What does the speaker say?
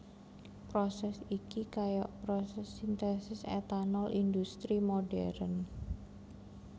Prosès iki kaya prosès sintesis etanol indhustri modern